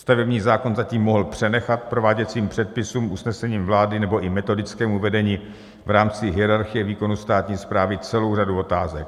Stavební zákon zatím mohl přenechat prováděcím předpisům, usnesením vlády nebo i metodickému vedení v rámci hierarchie výkonu státní správy celou řadu otázek.